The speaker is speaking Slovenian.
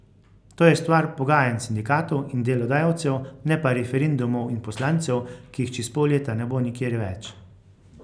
To je stvar pogajanj sindikatov in delodajalcev, ne pa referendumov in poslancev, ki jih čez pol leta ne bo nikjer več.